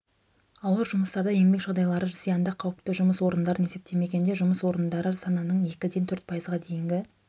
ауыр жұмыстарды еңбек жағдайлары зиянды қауіпті жұмыс орындарын есептемегенде жұмыс орындары санының екіден төрт пайызға дейінгі